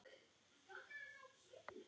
Svo varð raunin einnig nú.